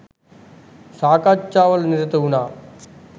සාකච්ඡා වල නිරත වුනා.